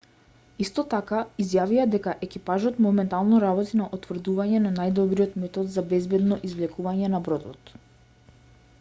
исто така изјавија и дека екипажот моментално работи на утврдување на најдобриот метод за безбедно извлекување на бродот